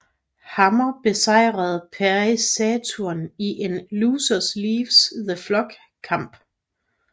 Hammer besejrede Perry Saturn i en Loser Leaves The Flock kamp